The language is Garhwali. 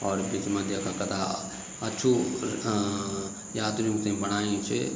और बिच मा दयाखा कथा अच्छू अ-अ यात्रियूं थे बणायु च।